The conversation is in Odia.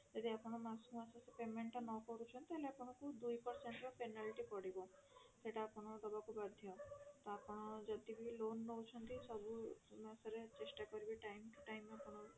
ଯଦି ଆପଣ ମାସକୁ ମାସ ସେଇ payment ଟା ନକରୁଛନ୍ତି ତାହେଲେ ଆପଣଙ୍କୁ ଦୁଇ percent ରା penalty ପଡିବ ସେଟା ଆପଣ ଦବାକୁ ବାଧ୍ୟ ତ ଆପଣ ଯଦି ବି loan ନଉଛନ୍ତି ସବୁ ମାସରେ ଚେଷ୍ଟା କରିବେ time to time ଆପଣ